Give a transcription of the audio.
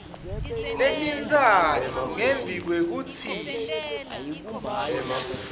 letintsatfu ngembi kwekutsi